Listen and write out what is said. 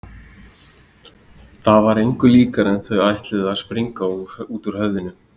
Það var engu líkara en þau ætluðu að springa út úr höfðinu.